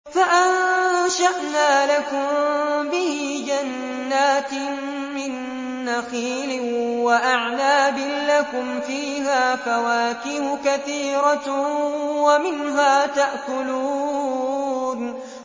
فَأَنشَأْنَا لَكُم بِهِ جَنَّاتٍ مِّن نَّخِيلٍ وَأَعْنَابٍ لَّكُمْ فِيهَا فَوَاكِهُ كَثِيرَةٌ وَمِنْهَا تَأْكُلُونَ